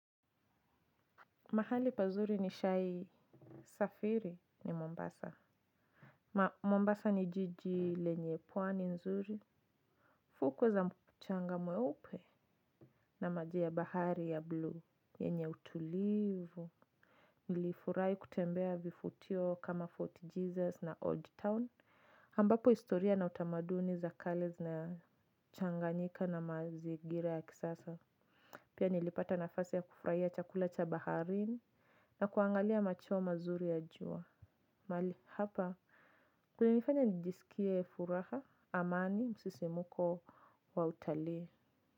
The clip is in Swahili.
Mahali pazuri nishai safiri ni Mombasa. Mombasa ni jiji lenye pwani nzuri. Fuku za mchanga mweupe na maji ya bahari ya blue. Yenye utulivu. Nilifurahi kutembea vifutio kama Fort Jesus na Old Town. Ambapo historia na utamaduni za kale zinachanganyika na mazingira ya kisasa. Pia nilipata nafasi ya kufurahia chakula cha baharini na kuangalia macheo mazuri ya jua. Mali hapa kumenifanya nijisikie furaha amani msisimko wa utalii.